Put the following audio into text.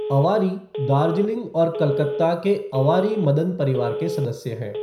अवारी दार्जिलिंग और कलकत्ता के अवारी मदन परिवार के सदस्य हैं।